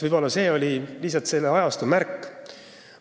Võib-olla oli see lihtsalt selle ajastu märk.